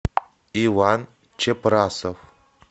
иван чепрасов